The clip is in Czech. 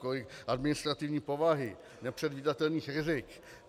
Kolik administrativní povahy, nepředvídatelných rizik.